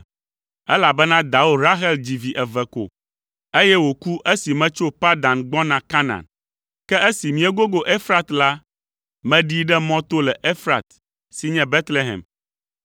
Elabena dawò Rahel dzi vi eve ko, eye wòku esi metso Padan gbɔna Kanaan. Ke esi míegogo Efrat la, meɖii ɖe mɔ to le Efrat” (si nye Betlehem).